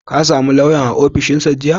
Ka same lauyan a ofishinsa jiya?